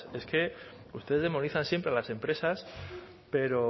es que ustedes demonizan siempre a las empresas pero